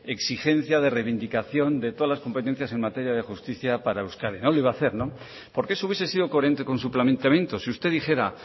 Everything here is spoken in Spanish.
exigencia de reivindicación de todas las competencias en materia de justicia para euskadi no lo iba a hacer no porque eso hubiese sido coherente con su planteamiento si usted dijera